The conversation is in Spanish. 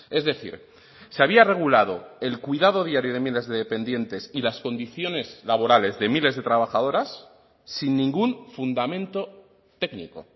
es decir se había regulado el cuidado diario de miles de dependientes y las condiciones laborales de miles de trabajadoras sin ningún fundamento técnico